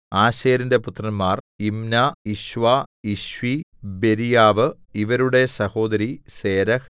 ആശേരിന്റെ പുത്രന്മാർ Imnah Ishvah Ishvi Beriah ഇവരുടെ സഹോദരി സേരഹ്